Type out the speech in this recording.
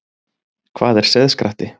Hvað er seiðskratti?